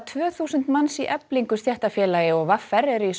tvö þúsund manns í Eflingu stéttarfélagi og v r eru í